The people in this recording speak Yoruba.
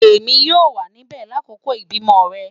Emi yoo wa nibẹ lakoko ibimọ rẹ